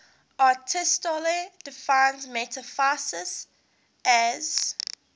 aristotle defines metaphysics as